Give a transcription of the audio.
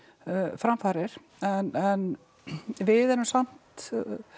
framfarir við erum samt